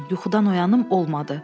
Yuxudan oyanım olmadı.